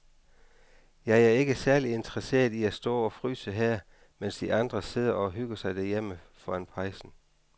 Jeg er ikke særlig interesseret i at stå og fryse her, mens de andre sidder og hygger sig derhjemme foran pejsen.